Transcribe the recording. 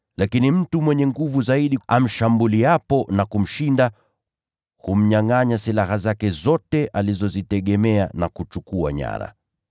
Lakini mtu mwenye nguvu zaidi kumliko akimshambulia na kumshinda, yeye humnyangʼanya silaha zake zote alizozitegemea, na kuchukua nyara.